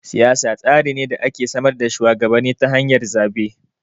Siyasa tsari ne da ke samar da shuwagabanni ta hanyar zaɓe.